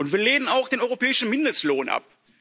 Wir lehnen auch den europäischen Mindestlohn ab.